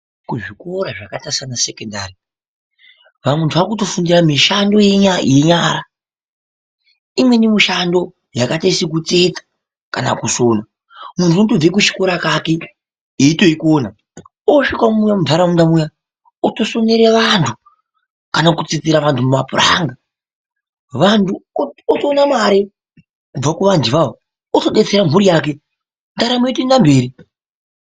Kuzvikora zvakaite seana sekondari antu aakutofundira mishando iya yenyara. Imweni mishando yakaite sekutsetsa, kana kusona muntu unotobve kuchikora kake eitoikona osvikawo muntaraunda muya otosonere vantu, kana kutsetsera vantu mapuranga. Vantu otoone mare kubva kuvantuwo otodetsere mhuri yake ndaramo yotoenda mberi.